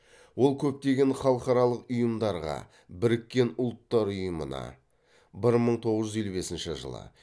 ол көптеген халықаралық ұйымдарға біріккен ұлттар ұйымына